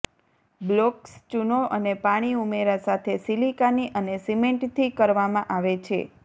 blocks ચૂનો અને પાણી ઉમેરા સાથે સિલિકાની અને સિમેન્ટ થી કરવામાં આવે છે